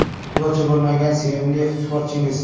Futbolchi bo‘lmagan sevimli sportchingiz?